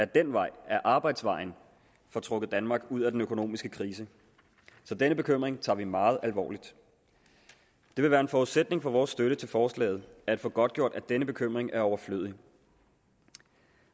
den vej ad arbejdsvejen får trukket danmark ud af den økonomiske krise så den bekymring tager vi meget alvorligt det vil være en forudsætning for vores støtte til forslaget at få godtgjort at denne bekymring er overflødig